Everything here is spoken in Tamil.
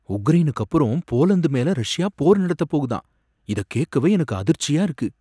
உக்ரைனுக்கு அப்புறம் போலந்து மேல ரஷ்யா போர் நடத்தப்போகுதாம், இத கேக்கவே எனக்கு அதிர்ச்சியா இருக்கு.